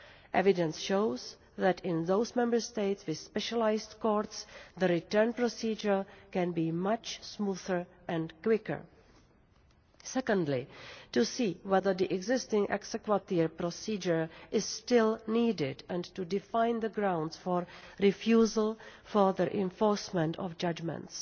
Evidence shows that in those Member States with specialised courts the return procedure can be much smoother and quicker. Secondly, to see whether the existing exequatur procedure is still needed and to define the grounds for refusal of the enforcement of judgements.